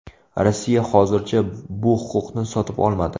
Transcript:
Rossiya hozircha bu huquqni sotib olmadi.